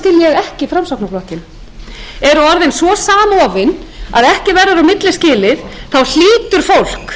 ekki framsóknarflokkinn eru svo samofin að ekki verður á milli skilið hlýtur fólk